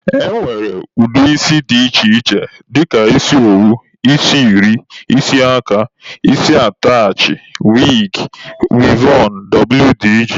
E nwere ụdị isi dị iche iche dịka isi owu, isi eri, isi aka, isi atachị, wigi, wivọn wdg.